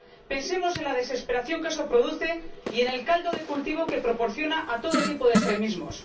Pensemos en la desesperación que eso produce y en el caldo de cultivo que proporciona a todo tipo de extremismos.